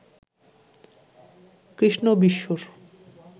কৃষ্ণ বিষ্ণুর